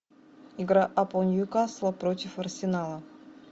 игра апл ньюкасла против арсенала